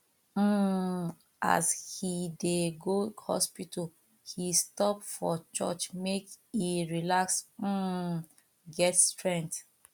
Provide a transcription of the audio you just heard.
um as he dey go hospital he stop for church make e relax um get strength